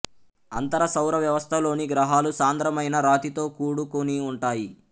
అంతర సౌర వ్యవస్థలోని గ్రహాలు సాంద్రమైన రాతితో కూడుకుని ఉంటాయి